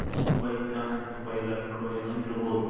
by chance by luck ಎನೋ ಇರ್ಬೋದು.